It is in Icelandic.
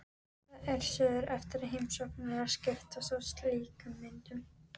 Það er siður eftir heimsóknir að skiptast á slíkum myndum.